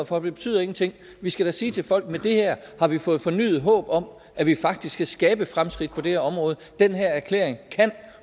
for det betyder ingenting vi skal da sige til folk at med det her har vi fået fornyet håb om at vi faktisk kan skabe fremskridt på det her område den her erklæring kan